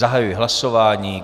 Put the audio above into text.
Zahajuji hlasování.